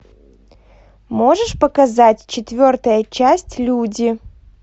можешь показать четвертая часть люди